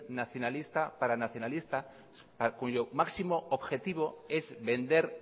nacionalista para nacionalistas cuyo máximo objetivo es vender